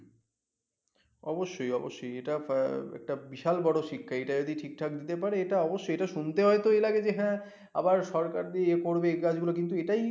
অবশ্যই অবশ্যই এটা একটা বিশাল বড় শিক্ষা এটা যদি ঠিক ঠাক দিতে পারে এটা অবশ্যই এটা শুনতে হয় তো এই লাগে যে হ্যা আবার সরকার দিয়ে ইয়ে করবে এই কাজ গুলো কিন্তু